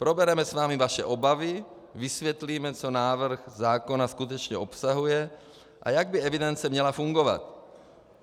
Probereme s vámi vaše obavy, vysvětlíme, co návrh zákona skutečně obsahuje a jak by evidence měla fungovat.